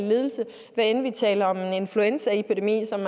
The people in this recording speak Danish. men vi taler om en influenzaepidemi som